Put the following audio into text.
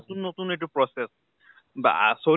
নতুন নতুন এইটো process বা চলি